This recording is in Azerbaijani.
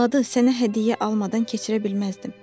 Miladı sənə hədiyyə almadan keçirə bilməzdim.